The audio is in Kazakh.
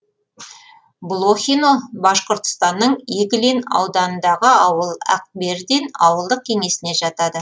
блохино башқұртстанның иглин ауданындағы ауыл акбердин ауылдық кеңесіне жатады